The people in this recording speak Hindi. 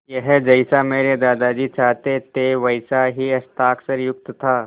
यह जैसा मेरे दादाजी चाहते थे वैसा ही हस्ताक्षरयुक्त था